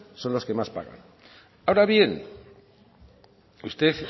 son los que más pagan ahora bien usted